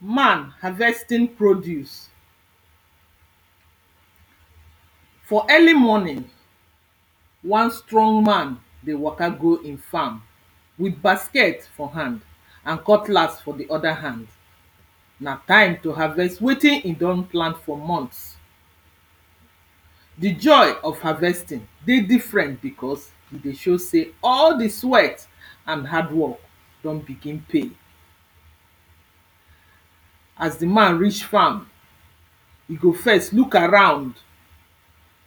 man harvesting produce. for early morning, wan strong man dey waka go im farm with basket for hand and cutlass for the other hand. na time to harvest wetin he don plan for months. the joy of harvesting dey different because e dey show sey all the sweat and hardwork don begin pay. as the man reach farm, he go first, look around,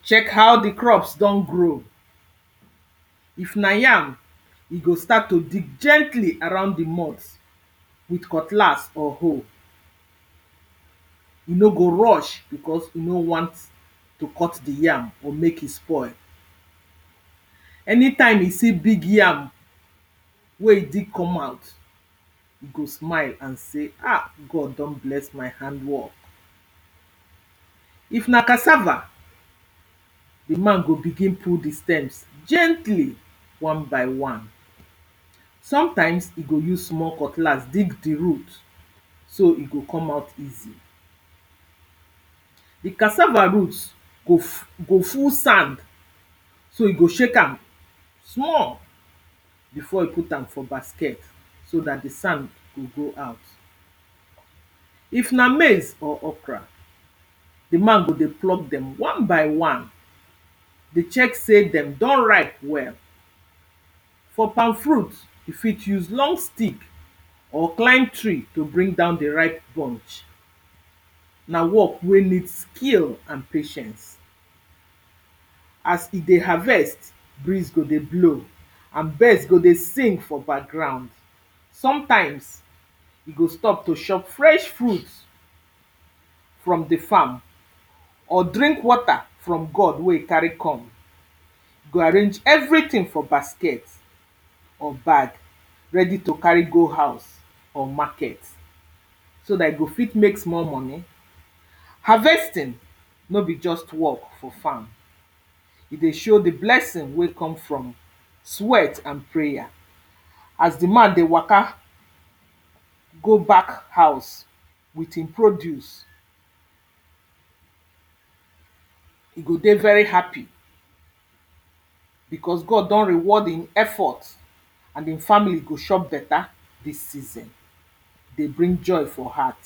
check how the crops don grow. if na yam, e go start to dig gently around the moth with cutlass or hoe. e no go rush because e no want to cut the yam or make e spoil. anytime he see big yam, wey e dig come out, e go smile and say, ah! God don bless my hardwork. if na cassava, the man go begin pull the stems gently wan by wan. sometimes, he go use small cutlass dig the root so e go come out easy. the cassava root go go full sand so e go shake am small before he put am for basket so that the sand go go out. If na maize or okra, the man go dey pluck dem wan by wan dey check say dem don ripe well. for palm fruits, you fit use long stick or climb tree to bring down the ripe bunch. na work wey need skill and patience as he dey harvest, breeze go dey blow and birds go dey sing for background. sometimes, he go stop to shop fresh fruit from the farm or drink water from gourd wey he carry come. e go arrange everything for basket or bag, ready to carri go house or market, so that he go fit make small money. harvesting, no be just work for farm, e dey show the blessing wey come from sweat and prayer. As the man dey waka, go back house with in produce, he go dey very happy because God don reward in effort and im family go shop beta this season. dey bring joy for heart.